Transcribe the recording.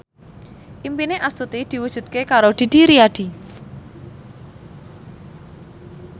impine Astuti diwujudke karo Didi Riyadi